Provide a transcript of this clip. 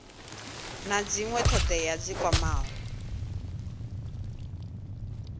na dzinwe thodea dzi kwamaho